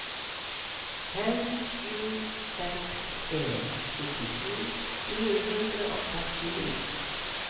fem sju seks en syttisju fire hundre og førtini